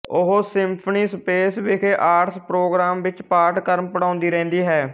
ਉਹ symphony space ਵਿਖੇ arts program ਵਿੱਚ ਪਾਠਕ੍ਰਮ ਪੜ੍ਹਾਉਂਦੀ ਰਹਿੰਦੀ ਹੈ